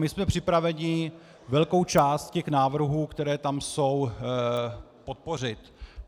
My jsme připraveni velkou část těch návrhů, které tam jsou, podpořit.